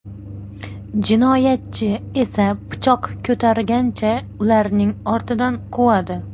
Jinoyatchi esa pichoq ko‘targancha ularning ortidan quvadi.